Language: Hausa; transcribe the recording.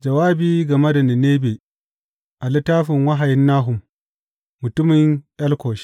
Jawabi game da Ninebe a littafin wahayin Nahum, mutumin Elkosh.